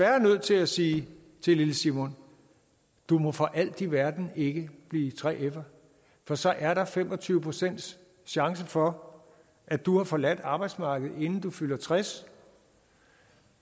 er nødt til at sige til lille simon du må for alt i verden ikke blive 3fer for så er der fem og tyve procent chance for at du har forladt arbejdsmarkedet inden du fylder tres